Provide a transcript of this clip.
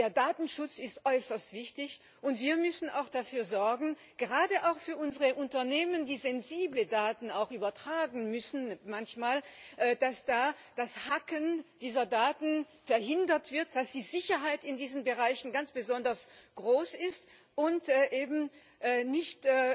Der Datenschutz ist äußerst wichtig, und wir müssen auch dafür sorgen, gerade auch für unsere Unternehmen, die manchmal auch sensible Daten übertragen müssen, dass da das Hacken dieser Daten verhindert wird, dass die Sicherheit in diesen Bereichen ganz besonders groß ist und sie eben nicht